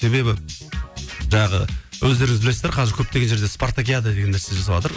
себебі жаңағы өздеріңіз білесіздер қазір көптеген жерде спартакиада деген нәрсе жасаватыр